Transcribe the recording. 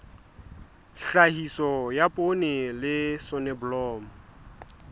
tlhahiso ya poone le soneblomo